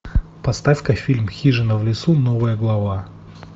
поставь ка фильм хижина в лесу новая глава